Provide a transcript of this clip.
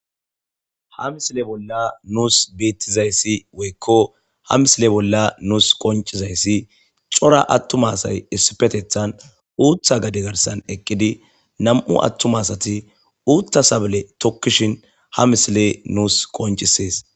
ha misile bolla nuus beettizayssi woykko ha misile bolla nuus qoncizayssi cora attumasay issipetethan uutha gade garsan eqqidi nam7u attumasati uutta sabale tokkishin ha misile nuus qoncisees